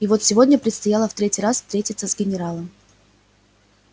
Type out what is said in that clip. и вот сегодня предстояло в третий раз встретиться с генералом